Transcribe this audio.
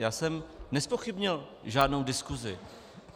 Já jsem nezpochybnil žádnou diskusi.